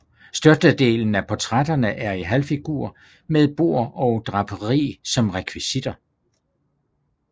Størstedelen af portrætterne er i halvfigur med bord og draperi som rekvisitter